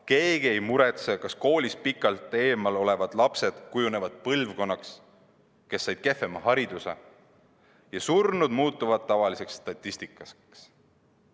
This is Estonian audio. Keegi ei muretse, kas koolist pikalt eemal olevad lapsed kujunevad põlvkonnaks, kes said kehvema hariduse, ja surmad muutuvad tavaliseks statistikaks.